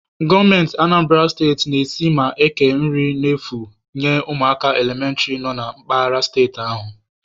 Gọọmenti Anambara steti na-esi ma na-eke nri efu enye ụmụaka elementịrị nọ na mpaghara steeti ahụ